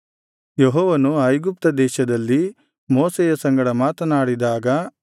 ಯೆಹೋವನು ಐಗುಪ್ತದೇಶದಲ್ಲಿ ಮೋಶೆಯ ಸಂಗಡ ಮಾತನಾಡಿದಾಗ